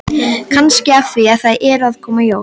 Kannski af því að það eru að koma jól.